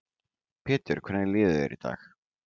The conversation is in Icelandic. Pétur: Hvernig líður þér í dag?